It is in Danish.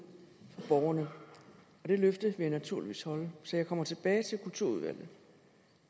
for borgerne og det løfte vil jeg naturligvis holde så jeg kommer tilbage til kulturudvalget